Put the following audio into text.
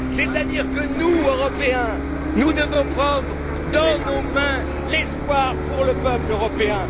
C'est à dire que nous, Européens, nous devons prendre dans nos mains l'espoir pour le peuple européen.